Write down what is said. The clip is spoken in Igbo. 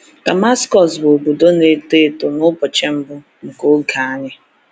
DAMASKỌS bụ obodo na-eto eto n’ụbọchị mbụ nke Oge Anyi.